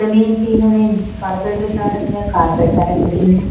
जमीन पे उन्होंने मार्बल बिछा रखा है। मार्बल का रंग ग्रीन है।